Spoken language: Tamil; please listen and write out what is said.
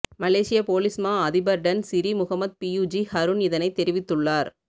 மலேசி ய பொலிஸ்மா அதிபர்டன் சிறி முகமட் பியுஜி ஹருன் இதனை அறிவித்துள்ளார்